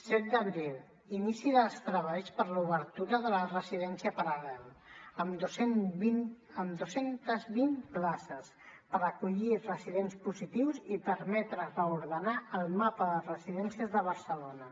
set d’abril inici dels treballs per a l’obertura de la residència paral·lel amb dos cents i vint places per acollir residents positius i permetre reordenar el mapa de residències de barcelona